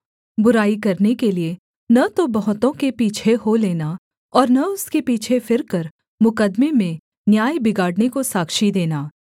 बुराई करने के लिये न तो बहुतों के पीछे हो लेना और न उनके पीछे फिरकर मुकद्दमे में न्याय बिगाड़ने को साक्षी देना